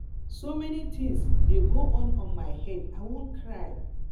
so many things dey go on for my head i wan cry